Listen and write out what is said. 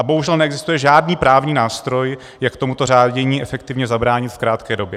A bohužel neexistuje žádný právní nástroj, jak tomuto řádění efektivně zabránit v krátké době.